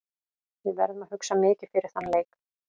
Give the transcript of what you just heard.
Við verðum að hugsa mikið fyrir þann leik.